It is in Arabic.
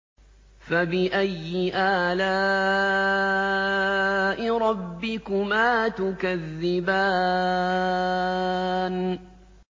فَبِأَيِّ آلَاءِ رَبِّكُمَا تُكَذِّبَانِ